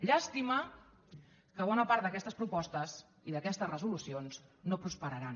llàstima que bona part d’aquestes propostes i d’aquestes resolucions no prosperaran